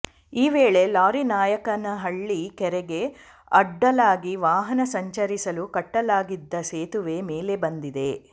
ಈ ವೇಳೆ ಲಾರಿ ನಾಯಕನಹಳ್ಳಿ ಕೆರೆಗೆ ಅಡ್ಡಲಾಗಿ ವಾಹನ ಸಂಚರಿಸಲು ಕಟ್ಟಲಾಗಿದ್ದ ಸೇತುವೆ ಮೇಲೆ ಬಂದಿದೆ